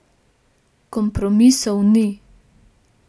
Kompromisov ni.